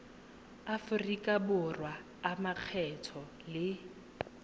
aforika borwa a makgetho le